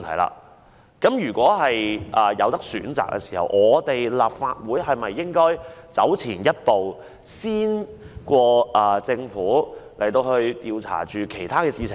因此，如果有選擇的話，立法會是否應走前一步，較政府更早開始調查其他事情呢？